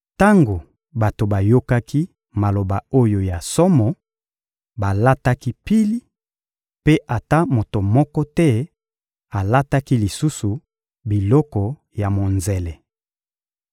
Tango bato bayokaki maloba oyo ya somo, balataki pili, mpe ata moto moko te alataki lisusu biloko ya monzele.